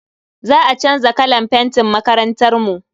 Za a chanza kalan fentin makarantar mu.